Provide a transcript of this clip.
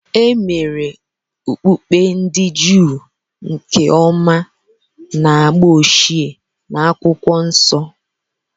E mere Okpukpe ndị Juu nke ọma na agba ochie na Akwụkwọ Nsọ.